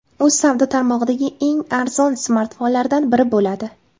U savdo tarmog‘idagi eng arzon smartfonlardan biri bo‘ladi.